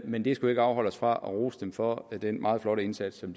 men det skal ikke afholde os fra at rose dem for den meget flotte indsats som